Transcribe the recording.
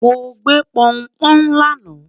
mọ gbé p'oun p'oun lana